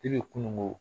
E bɛ kununko